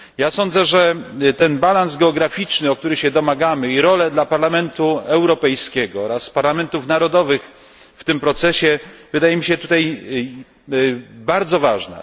Sądzę, że ten balans geograficzny, którego się domagamy, i role dla Parlamentu Europejskiego oraz parlamentów narodowych w tym procesie wydają mi się tutaj bardzo ważne.